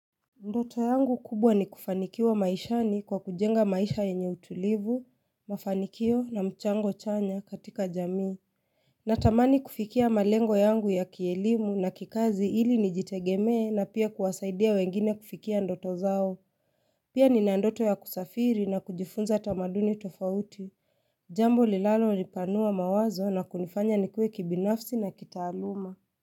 Ndoto yangu kubwa ni kufanikiwa maishani kwa kujenga maisha yenye utulivu, mafanikio na mchango chanya katika jamii Natamani kufikia malengo yangu ya kielimu na kikazi ili nijitegeme na pia kuwasaidia wengine kufikia ndoto zao Pia nina ndoto ya kusafiri na kujifunza tamaduni tofauti Jambo linalo nipanua mawazo na kunifanya nikue kibinafsi na kitaaluma.